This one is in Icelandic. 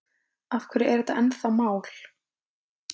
Af hverju er þetta ennþá mál?